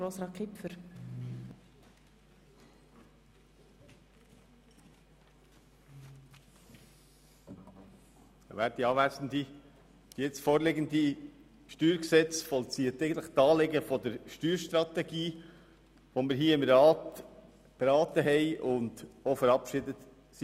Das vorliegende StG vollzieht eigentlich die Anliegen der Steuerstrategie, die wir im Grossen Rat beraten und verabschiedet haben.